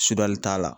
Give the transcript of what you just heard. Sigali t'a la